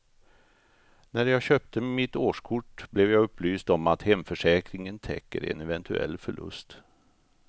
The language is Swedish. När jag köpte mitt årskort blev jag upplyst om att hemförsäkringen täcker en eventuell förlust.